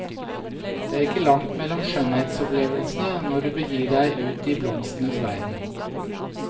Det er ikke langt mellom skjønnhetsopplevelsene når du begir deg ut i blomstenes verden.